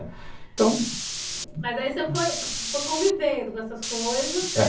Então, mas aí você foi convivendo com essas coisas, né?